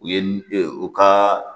U ye n u ka